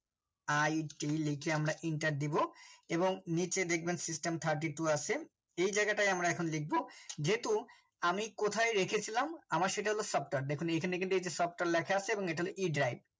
it লিখে আমারা Enter দেব এবং নিচে দেখবেন system thirty two আছে এই জায়গায় তাই আমরা এখন লিখবো যেহুতুআমি কোথায় রেখেছিলাম আমার সেটা হল software দেখুন এখানে কিন্তুএই যে software লেখা আছে এবং এখানে e drive